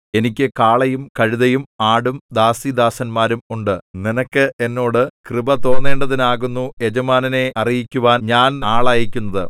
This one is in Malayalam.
എനിക്ക് കാളയും കഴുതയും ആടും ദാസീദാസന്മാരും ഉണ്ട് നിനക്ക് എന്നോട് കൃപ തോന്നേണ്ടതിനാകുന്നു യജമാനനെ അറിയിക്കുവാൻ ഞാൻ ആളയക്കുന്നത്